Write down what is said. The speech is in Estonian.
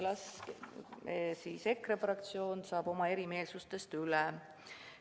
Las siis EKRE fraktsioon saab oma erimeelsustest üle.